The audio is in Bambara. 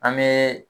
An be